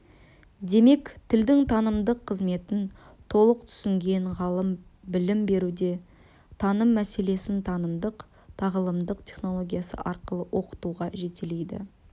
демек тілдің танымдық қызметін толық түсінген ғалым білім беруде таным мәселесін танымдық-тағылымдық технологиясы арқылы оқытуға жетелейді